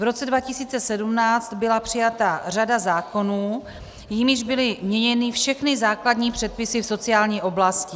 V roce 2017 byla přijata řada zákonů, jimiž byly měněny všechny základní předpisy v sociální oblasti.